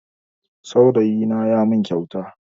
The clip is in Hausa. Saurayina ya min kyauta